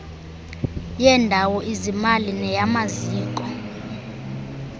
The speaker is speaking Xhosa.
yendawo izimali neyamaziko